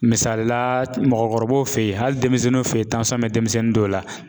Misalila, mɔgɔkɔrɔbaw fɛ yen, hali denmisɛnninw fɛ yen bɛ denmisɛnnin dɔw la